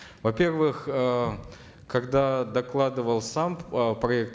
во первых э когда докладывал сам э проект